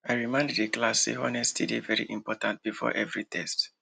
i remind the class say honesty dey very important before every test